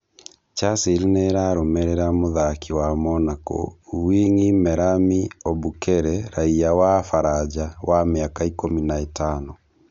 Chasile nĩ ĩramũrũmĩrira mũthaki wa Monako, wing'i Merami Obukere raiya wa Baranja wa mĩaka ikũmi na ĩtano.